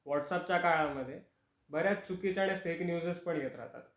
WhatsApp च्या काळामध्ये बऱ्याच चुकीच्या आणि फेक न्यूजेस पण येत राहतात.